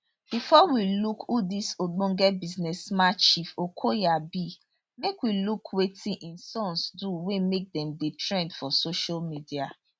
bifor we look who dis ogbonge businessman chief okoya be make we look wetin im sons do wey make dem dey trend for social media